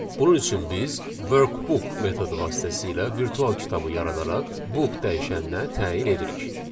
Bunun üçün biz workbook metodu vasitəsilə virtual kitabı yaradaraq book dəyişəninə təyin edirik.